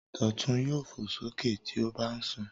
Dọ̀tun yóò fò sókè tí ó bá ń sùn.